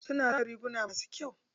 Suna zana riguma masu kyau.